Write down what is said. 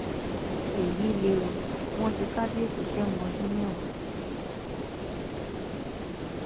èyí lè o wọn ju kábíyèsí sẹwọn ọdún mẹwàá